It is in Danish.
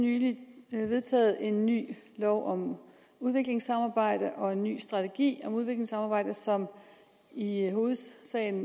nylig vedtaget en ny lov om udviklingssamarbejde og en ny strategi for udviklingssamarbejde som i hovedsagen